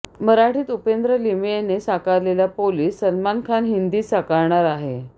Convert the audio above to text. मराठीत उपेंद्र लिमयेने साकारलेला पोलीस सलमान खान हिंदीत साकारणार आहे